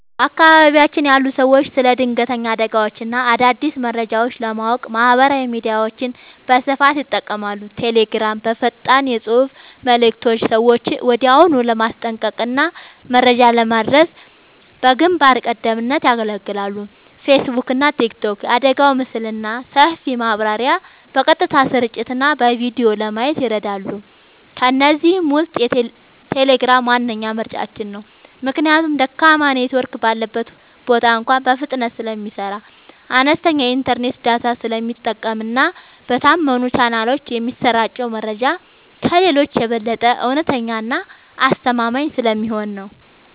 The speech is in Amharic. በአካባቢያችን ያሉ ሰዎች ስለ ድንገተኛ አደጋዎችና አዳዲስ መረጃዎች ለማወቅ ማህበራዊ ሚዲያዎችን በስፋት ይጠቀማሉ። ቴሌግራም፦ በፈጣን የፅሁፍ መልዕክቶች ሰዎችን ወዲያውኑ ለማስጠንቀቅና መረጃ ለማድረስ በግንባር ቀደምትነት ያገለግላል። ፌስቡክና ቲክቶክ፦ የአደጋውን ምስልና ሰፊ ማብራሪያ በቀጥታ ስርጭትና በቪዲዮ ለማየት ይረዳሉ። ከእነዚህ ውስጥ ቴሌግራም ዋነኛ ምርጫችን ነው። ምክንያቱም ደካማ ኔትወርክ ባለበት ቦታ እንኳ በፍጥነት ስለሚሰራ፣ አነስተኛ የኢንተርኔት ዳታ ስለሚጠቀምና በታመኑ ቻናሎች የሚሰራጨው መረጃ ከሌሎቹ የበለጠ እውነተኛና አስተማማኝ ስለሚሆን ነው።